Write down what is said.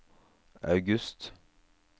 august